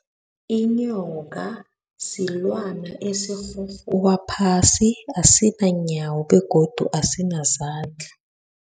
Inyoka silwana esirhurhuba phasi asinayo iinyawo begodu asinazandla.